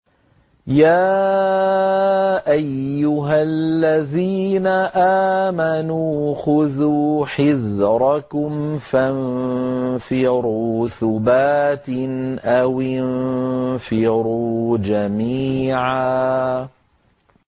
يَا أَيُّهَا الَّذِينَ آمَنُوا خُذُوا حِذْرَكُمْ فَانفِرُوا ثُبَاتٍ أَوِ انفِرُوا جَمِيعًا